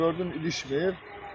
Gördüm ilişmir.